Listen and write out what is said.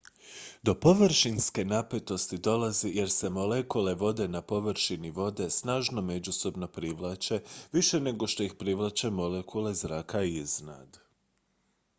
do površinske napetosti dolazi jer se molekule vode na površini vode snažno međusobno privlače više nego što ih privlače molekule zraka iznad